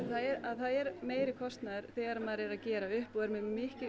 að það er meiri kostnaður þegar maður er að gera upp og er með